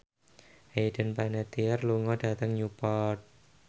Hayden Panettiere lunga dhateng Newport